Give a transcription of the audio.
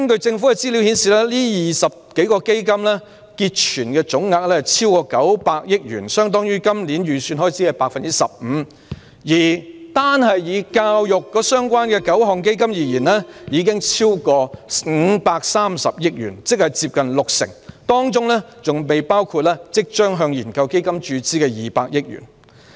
政府資料顯示，這20多個基金的結存總額超過900億元，相當於今年預算開支的 15%， 而以與教育相關的9個基金已超過530億元，即接近六成，當中還未包括即將向研究基金注資的200億元。